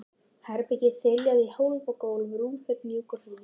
Herbergið þiljað í hólf og gólf, rúmfötin mjúk og hlý.